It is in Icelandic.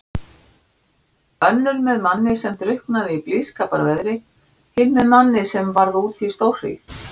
Önnur með manni sem drukknaði í blíðskaparveðri, hin með manni sem varð úti í stórhríð.